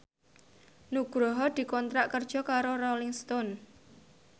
Nugroho dikontrak kerja karo Rolling Stone